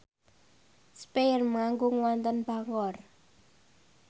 spyair manggung wonten Bangor